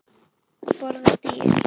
Borða dýrin?